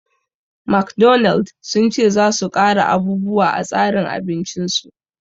McDonald sun ce za su ƙara abubuwa a tsarin abincin su